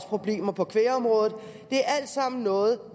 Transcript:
problemer på kvægområdet det er alt sammen noget